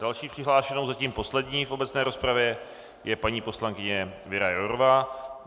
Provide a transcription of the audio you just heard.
Další přihlášenou, zatím poslední v obecné rozpravě, je paní poslankyně Věra Jourová.